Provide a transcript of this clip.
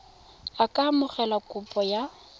a ka amogela kopo ya